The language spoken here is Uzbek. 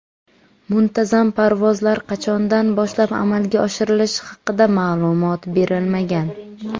Muntazam parvozlar qachondan boshlab amalga oshirilishi haqida ma’lumot berilmagan.